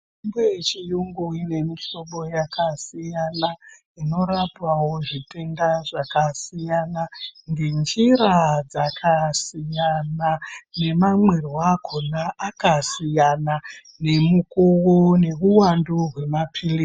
Mitombo yechiyungu ine mihlobo yakasiyana, inorapawo zvitenda zvakasiyana, ngenjira dzakasiyana nemwamwirwo akona akasiyana, nemukuwo neuwandu hwemaphilizi..